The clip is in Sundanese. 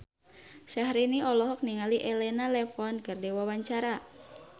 Syahrini olohok ningali Elena Levon keur diwawancara